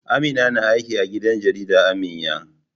Amina na aiki a gidan jarida Aminya